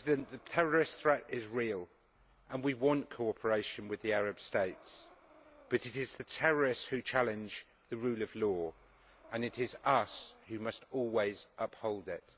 The terrorist threat is real and we want cooperation with the Arab States, but it is the terrorists who challenge the rule of law, and it is us who must always uphold it.